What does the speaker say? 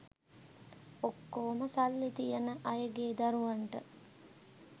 ඔක්කොම සල්ලි තියන අයගේ දරුවන්ට